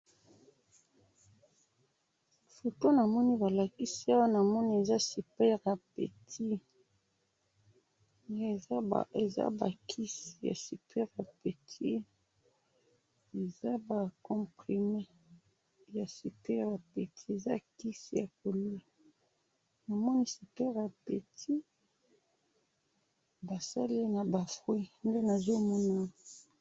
Photo namoni balakisi awa ,namoni eza super appetit, eza ba kisi ya super appetit ,eza ba comprimés ya super appetit, eza kisi ya ko lia ,namoni super appetit basali ye na ba fruits nde nazo mona awa